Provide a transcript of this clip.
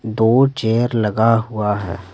दो चेयर लगा हुआ है।